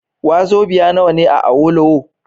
Wazobiya nawa ne a Awolowo?